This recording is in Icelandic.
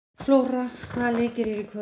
Flóra, hvaða leikir eru í kvöld?